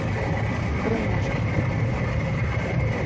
Brúnahlíð